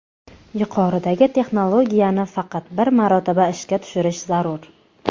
Yuqoridagi texnologiyani faqat bir marotaba ishga tushirish zarur.